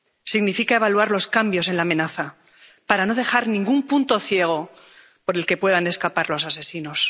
significa evaluar los cambios en la amenaza para no dejar ningún punto ciego por el que puedan escapar los asesinos.